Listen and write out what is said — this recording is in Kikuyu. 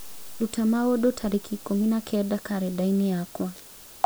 Ruta maũndũ tariki ikũmi na kenda karenda-inĩ yakwa